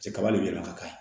Cɛ kaba de bɛ yɛlɛ ka k'a ye